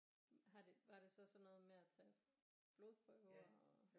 Har det var det sådan noget med at tage blodprøver og